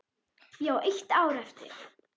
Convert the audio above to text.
Ég á eitt ár eftir.